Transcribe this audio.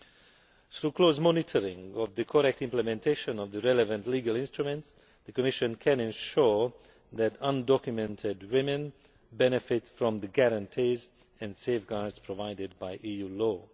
So with close monitoring of the correct implementation of the relevant legal instruments, the Commission can ensure that undocumented women benefit from the guarantees and safeguards provided by EU law.